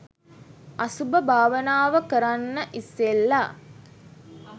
අසුභ භාවනාව කරන්න ඉස්සෙල්ල